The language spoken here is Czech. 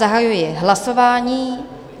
Zahajuji hlasování.